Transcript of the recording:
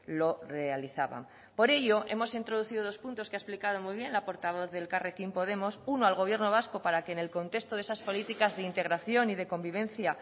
lo realizaban por ello hemos introducido dos puntos que ha explicado muy bien la portavoz de elkarrekin podemos uno al gobierno vasco para que en el contexto de esas políticas de integración y de convivencia